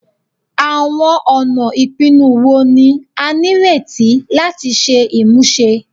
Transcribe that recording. Awọn ọna ipinnu wo ni a nireti lati ṣe imuse?